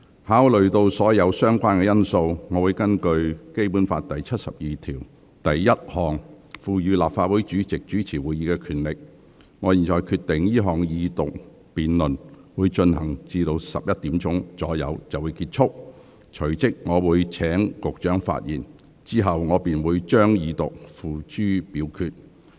考慮到所有相關因素，並根據《基本法》第七十二條第一項賦予立法會主席主持會議的權力，我現在決定這項二讀辯論進行至上午11時左右便結束，隨即請局長發言，之後我會將二讀議案付諸表決。